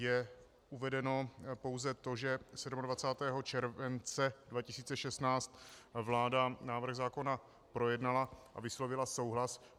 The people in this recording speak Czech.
Je uvedeno pouze to, že 27. července 2016 vláda návrh zákona projednala a vyslovila souhlas.